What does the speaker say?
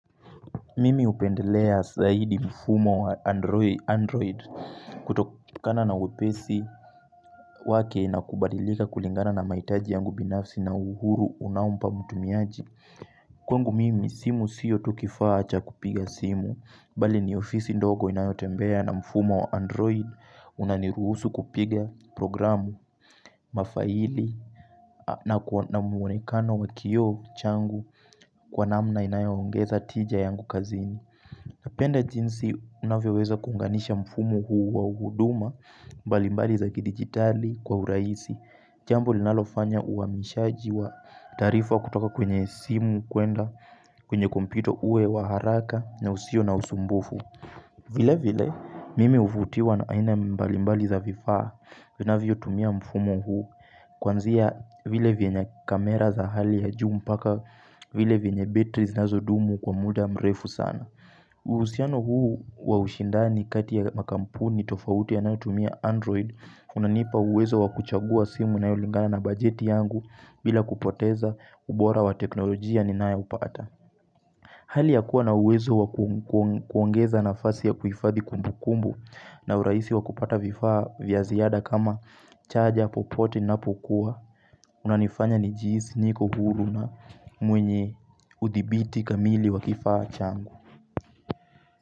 Mimi hupendelea zaidi mfumo wa androi android kutokana na wepesi wake na kubadilika kulingana na mahitaji yangu binafsi na uhuru unaompa mtumiaji. Kwangu mimi simu siyo tu kifaa cha kupiga simu. Bali ni ofisi ndogo inayotembea na mfumo wa android unaniruhusu kupiga programu mafaili na ku na mwonekano wa kio changu kwa namna inayoongeza tija yangu kazini. Napenda jinsi unavyoweza kuunganisha mfumo huu wa huduma mbalimbali za kidigitali kwa urahisi. Jambo linalofanya uhamishaji wa taarifa kutoka kwenye simu kuenda kwenye kompyuta uwe wa haraka na usio na usumbufu. Vile vile mimi huvutiwa na aina mbalimbali za vifaa unavyotumia mfumo huu kwanzia vile vienye camera za hali ya juu mbaka vile vienye batteries zinazodumu kwa mda mrefu sana. Uhusiano huu wa ushindani kati ya makampuni tofauti yanayotumia android unanipa uwezo wa kuchagua simu inayolingana na bajeti yangu bila kupoteza ubora wa teknolojia ninayopata Hali ya kuwa na uwezo wa ku kuongeza nafasi ya kuifadhi kumbukumbu na urahisi wa kupata vifaa vya ziada kama charger popote inapokuwa Unanifanya nijihisi niko huru na mwenye udhibiti kamili wa kifaa changu.